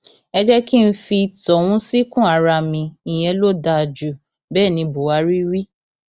ẹ jẹ kí n fi tọhún síkùn ara mi ìyẹn ló dáa ju bẹẹ ní buhari wí